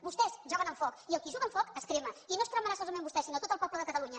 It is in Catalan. vostès juguen amb foc i el qui juga amb foc es crema i no es cremarà solament vostè sinó tot el poble de catalunya